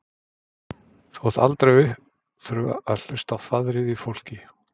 Þú átt aldrei að þurfa að hlusta á þvaðrið í fólki.